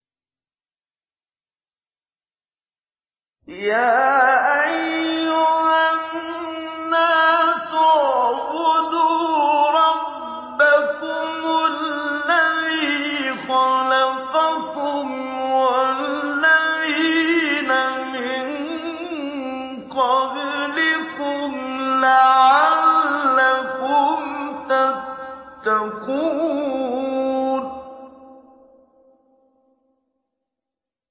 يَا أَيُّهَا النَّاسُ اعْبُدُوا رَبَّكُمُ الَّذِي خَلَقَكُمْ وَالَّذِينَ مِن قَبْلِكُمْ لَعَلَّكُمْ تَتَّقُونَ